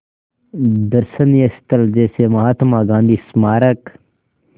दर्शनीय स्थल जैसे महात्मा गांधी स्मारक